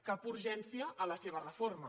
cap urgència a la seva reforma